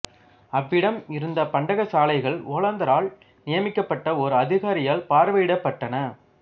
அவ்விடம் இருந்த பண்டகசாலைகள் ஒல்லாந்தரால் நியமிக்கப்பட்ட ஓர் அதிகாரியால் பார்வையிடப்பட்டன